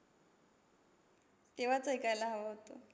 तेव्हाच ऐकायला हवं होतं.